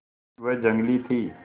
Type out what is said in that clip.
वह जंगली थी